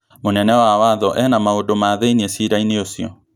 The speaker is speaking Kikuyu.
Mũnene wa watho ena maũndũ ma thiĩni cira-ini ũcio